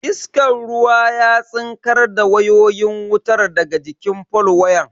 Iskan ruwan ya tsinkar da wayoyin wutar daga jikin fol wayan.